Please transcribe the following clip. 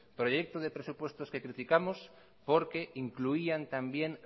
proyecto de presupuestos que criticamos porque incluían también